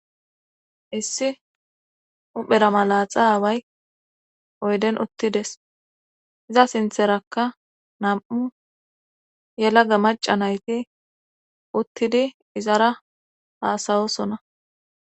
issi uphera malaxa away oyden uttides iza sintherakka nam7u yelaga maca nayti uttidi izara haasayosona